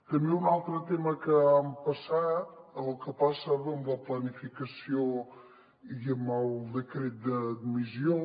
també un altre tema que ha passat o que passava amb la planificació i amb el decret d’admissió